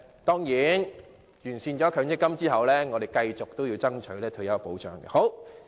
當然，完善了強積金後，我們仍會繼續爭取退休保障。